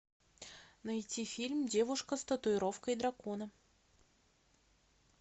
найти фильм девушка с татуировкой дракона